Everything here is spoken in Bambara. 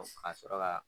Ka sɔrɔ ka